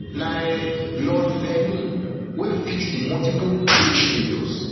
na um lon thvenin wey fix di multiple cable failures